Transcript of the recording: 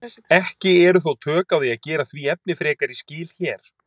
Ekki eru þó tök á því að gera því efni frekari skil hér.